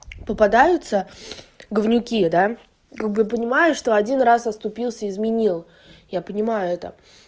попадаются говнюки да как бы я понимаю что один раз оступился изменил я понимаю это